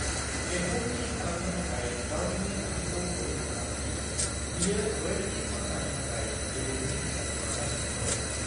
बेखौ थि खालामनो थाखाय गावनिनो खान्थिखौ अडिट खालाम दि बेयो रयेल्टी खर्सानि थाखाय गेबेङै हिसाब खालामगासिनो दं।